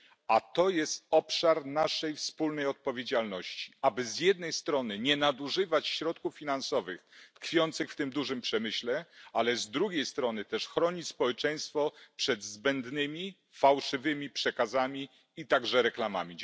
A to jest obszar naszej wspólnej odpowiedzialności, aby z jednej strony nie nadużywać środków finansowych tkwiących w tym dużym przemyśle, ale z drugiej strony też chronić społeczeństwo przed zbędnymi fałszywymi przekazami i także reklamami.